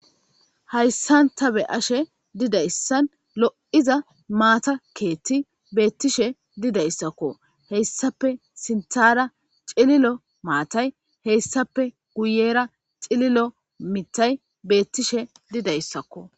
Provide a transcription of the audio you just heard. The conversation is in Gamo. Hayyssanta be'ashe didayssan lo'iiza maata keethti beettishe didayssakko heyssape sintara cililo maatay heyssape guyera cililo mitay beettishe didayssakko.